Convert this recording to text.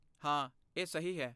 ਹਾਂ, ਇਹ ਸਹੀ ਹੈ।